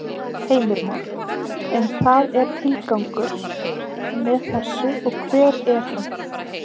Heimir Már: En það er tilgangur með þessu og hver er hann?